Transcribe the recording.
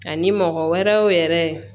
Ani mɔgɔ wɛrɛw yɛrɛ